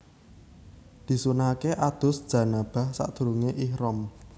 Disunnahaké adus janabah sadurungé ihram